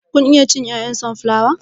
Kun iya cin 'ya'yan sonflawa?